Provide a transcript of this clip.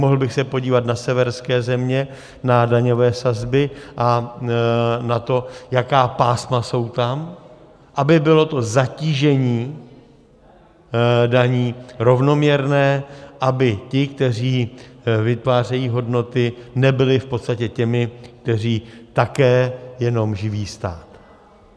Mohl bych se podívat na severské země na daňové sazby a na to, jaká pásma jsou tam, aby bylo to zatížení daní rovnoměrné, aby ti, kteří vytvářejí hodnoty, nebyli v podstatě těmi, kteří také jenom živí stát.